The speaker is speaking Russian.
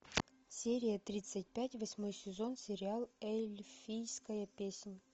серия тридцать пять восьмой сезон сериал эльфийская песнь